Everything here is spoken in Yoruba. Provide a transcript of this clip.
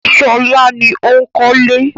Ṣọlá ni ó ń kọ́lé.